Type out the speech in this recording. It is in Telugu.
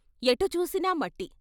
ఎటు చూసినా మట్టి....